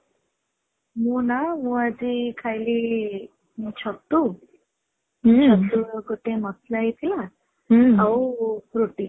ମୁଁ ନା ମୁଁ ଆଜି ଖାଇଲି ମୁଁ ଛତୁ ଛତୁ ଗୋଟେ ମସଲା ହେଇ ଥିଲା ଆଉ ରୁଟି